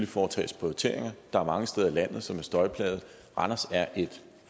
foretages prioriteringer der er mange steder i landet som er støjplagede randers er et